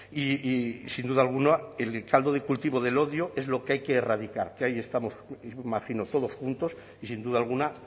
y sin duda alguna el caldo de cultivo del odio es lo que hay que erradicar que ahí estamos imagino todos juntos y sin duda alguna